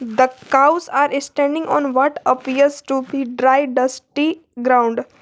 The cows are standing on what appears to be dry dusty ground.